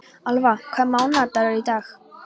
Alfa, hvaða mánaðardagur er í dag?